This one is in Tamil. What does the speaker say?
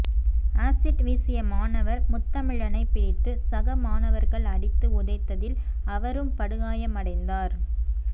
ஆசிட் வீசிய மாணவர் முத்தமிழனை பிடித்து சக மாணவர்கள் அடித்து உதைத்ததில் அவரும் படுகாயமடைந்தார்